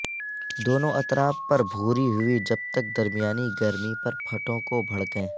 دونوں اطراف پر بھوری ہوئی جب تک درمیانی گرمی پر پٹھوں کو بھڑکیں